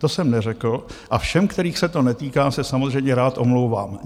To jsem neřekl a všem, kterých se to netýká, se samozřejmě rád omlouvám.